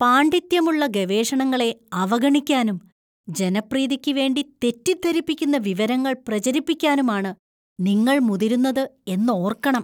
പാണ്‌ഡിത്യമുള്ള ഗവേഷണങ്ങളെ അവഗണിക്കാനും ജനപ്രീതിക്ക് വേണ്ടി തെറ്റിദ്ധരിപ്പിക്കുന്ന വിവരങ്ങൾ പ്രചരിപ്പിക്കാനുമാണ് നിങ്ങൾ മുതിരുന്നത് എന്നോര്‍ക്കണം.